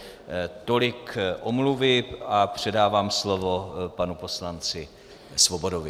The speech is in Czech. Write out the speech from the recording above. Tolik omluvy a předávám slovo panu poslanci Svobodovi.